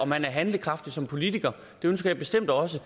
man er handlekraftig som politiker det ønsker jeg bestemt også